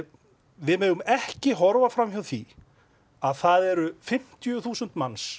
við megum ekki horfa fram hjá því að það eru fimmtíu þúsund manns